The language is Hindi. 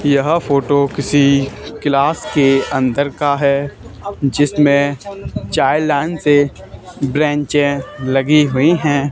यह फोटो किसी क्लास के अंदर का है जिसमें चार लाइन से ब्रैंचें लगी हुई हैं।